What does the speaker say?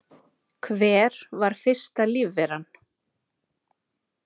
Hver var fyrsta lífveran?